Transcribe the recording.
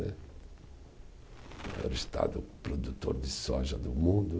Né, é o estado produtor de soja do mundo.